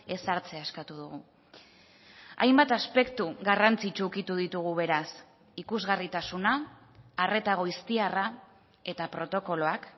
ezartzea eskatu dugu hainbat aspektu garrantzitsu ukitu ditugu beraz ikusgarritasuna arreta goiztiarra eta protokoloak